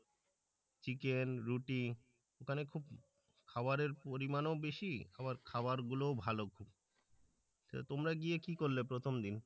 chicken রুটি ওখানে খুব খাবারের পরিমাণও বেশি আবার খাবারগুলোও ভালো খুব তোমরা গিয়ে কি করলে প্রথম দিন